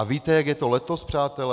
A víte, jak je to letos, přátelé?